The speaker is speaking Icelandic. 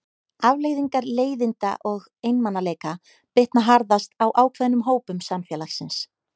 Afleiðingar leiðinda og einmanaleika bitna harðast á ákveðnum hópum samfélagsins.